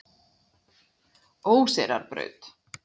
Óseyrarbraut